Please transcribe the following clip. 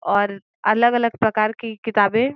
और अलग अलग प्रकार कि किताबे --